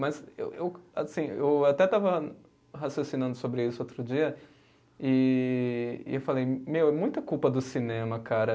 Mas eu eu assim, eu até estava raciocinando sobre isso outro dia e e eu falei, meu, é muita culpa do cinema, cara.